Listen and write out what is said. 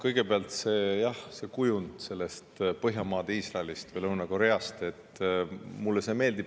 Kõigepealt, jah, see kujund Põhjamaade Iisraelist või Lõuna-Koreast mulle meeldib.